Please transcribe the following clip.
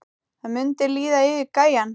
Það mundi líða yfir gæjann!